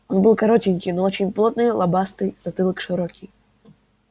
он был коротенький но очень плотный лобастый затылок широкий